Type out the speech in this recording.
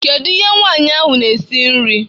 Kedu ihe nwanyị ahụ na-esi nri?